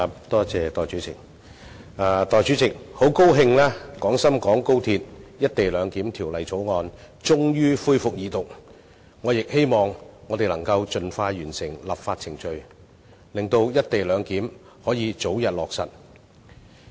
代理主席，很高興《廣深港高鐵條例草案》終於恢復二讀，我亦希望我們能夠盡快完成立法程序，讓"一地兩檢"可以早日落實。